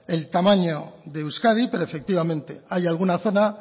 el tamaño de euskadi pero efectivamente hay alguna zona